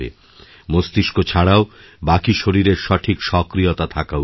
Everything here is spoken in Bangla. মস্তিষ্ক ছাড়াও বাকি শরীরেরসঠিক সক্রিয়তা থাকা উচিত